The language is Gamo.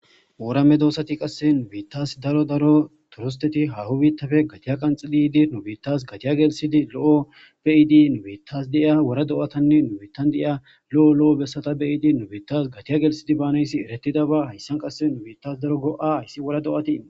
Ooramme doosati qasse nubiittas daro daro turisteti hahu biittafe gatiya qanxiliydi nu biittas gatiya gelsidi lo7o beyiidi nubiittas deiya wora do7atanne nubittan de7iya lo7o lo7o bessata beyiidi nubittas gatiya gelsidi baanayssi eretida ba hayssan qasse nu biittas daro go7a hayssi wora do7atii.